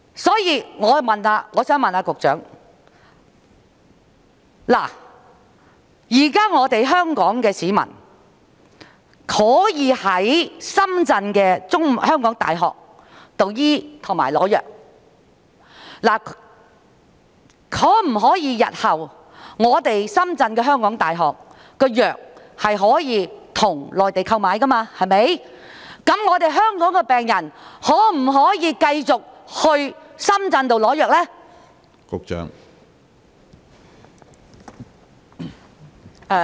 所以，我想問局長，現時香港市民可以在港大深圳醫院求醫和取得藥物，如果港大深圳醫院日後可以向內地購買藥物，香港的病人能否繼續在深圳取得藥物呢？